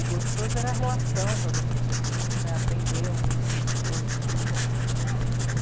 o gostoso era a relação com as outras pessoas, né, aprender um com os outros.